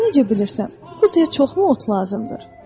Sən necə bilirsən, quzuya çoxmu ot lazımdır?